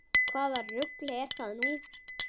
Hvaða rugl er nú það?